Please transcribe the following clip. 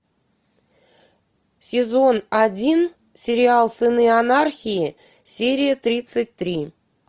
сезон один сериал сыны анархии серия тридцать три